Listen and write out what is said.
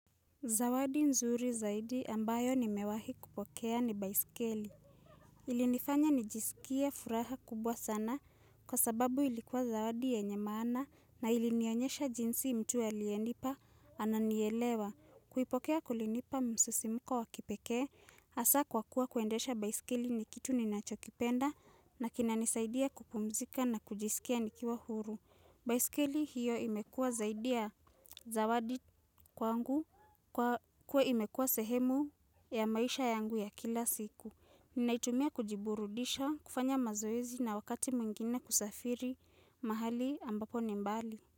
Zawadi nzuri zaidi ambayo nimewahi kupokea ni baisikeli. Ilinifanya nijisikie furaha kubwa sana kwa sababu ilikuwa zawadi yenye maana na ilinionyesha jinsi mtu aliyenipa ananielewa. Kuipokea kulinipa msisimko wakipekee hasa kwa kuwa kuendesha baisikeli ni kitu ninachokipenda na kina nisaidia kupumzika na kujisikia nikiwa huru. Baiskeli hiyo imekuwa zaidi ya zawadi kwangu kwa kuwa imekuwa sehemu ya maisha yangu ya kila siku. Ninaitumia kujiburudisha kufanya mazoezi na wakati mwingine kusafiri mahali ambapo ni mbali.